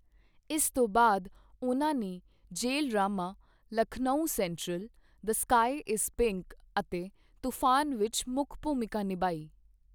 ਇਸ ਤੋਂ ਬਾਅਦ ਉਨ੍ਹਾਂ ਨੇ ਜੇਲ੍ਹ drama 'Lucknow central', 'the sky is pink' ਅਤੇ 'ਤੂਫ਼ਾਨ' ਵਿੱਚ ਮੁੱਖ ਭੂਮਿਕਾ ਨਿਭਾਈ।